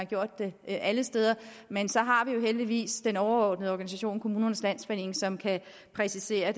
gjort det alle steder men så har vi jo heldigvis den overordnede organisation kommunernes landsforening som kan præcisere